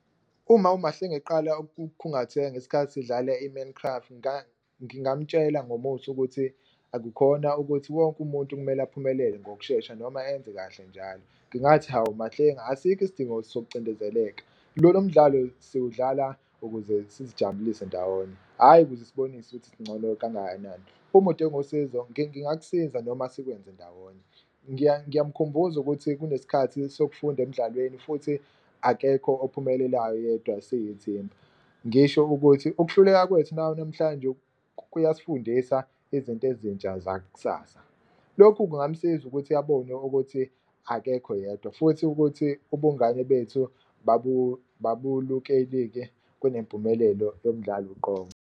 Uma uMahlengi eqala ukukhungatheka ngesikhathi sidlale i-man craft ngingamtshela ukuthi akukhona ukuthi wonke umuntu kumele aphumelele ngokushesha noma enze kahle njalo. Ngingathi, hawu Mahlengi asikho isidingo sokucindezeleka lomdlalo siwudlala ukuze sizijabulise ndawonye hhayi ukuze sibonise ukuthi sincono kangakanani, uma udinga usizo ngingakusiza noma sikwenze ndawonye. Ngiyamkhumbuza ukuthi kunesikhathi sokufunda emdlalweni futhi akekho ophumelelayo yedwa siyithimba ngisho ukuthi, ukuhluleka kwethu namhlanje kuyasifundisa izinto ezintsha zaksasa. Lokhu kungamsiza ukuthi abone ukuthi akekho yedwa futhi ukuthi ubungane bethu kunempumelelo yomdlalo uqobo.